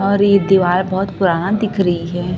और ये दीवार बहोत पुराना दिख रही है।